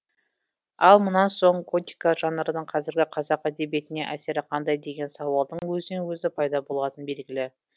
ал мұнан соң готика жанрының қазіргі қазақ әдебиетіне әсері қандай деген сауалдың өзінен өзі пайда болатыны белгілі